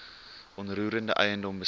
onroerende eiendom besit